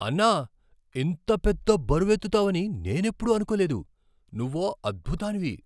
అన్నా! ఇంత పెద్ద బరువెత్తుతావని నేనెప్పుడూ అనుకోలేదు, నువ్వో అద్భుతానివి!!